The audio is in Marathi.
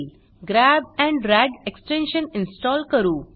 grab and drag extension install करू